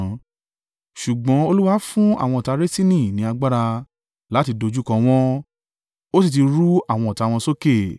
Ṣùgbọ́n Olúwa fún àwọn ọ̀tá Resini ní agbára láti dojúkọ wọ́n ó sì ti rú àwọn ọ̀tá wọn sókè.